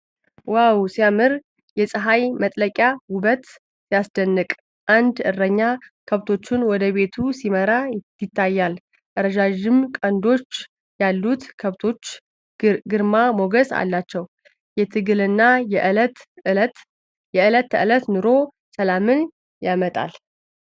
ዋው ሲያምር! የፀሐይ መጥለቂያ ውበት! ሲያስደንቅ! አንድ እረኛ ከብቶቹን ወደ ቤቱ ሲመራ ይታያል። ረዣዥም ቀንዶች ያሉት ከብቶች ግርማ ሞገስ አላቸው። የትግልና የዕለት ተዕለት ኑሮ ሰላምን ያመጣል።